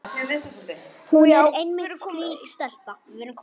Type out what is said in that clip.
Hún er einmitt slík stelpa.